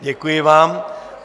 Děkuji vám.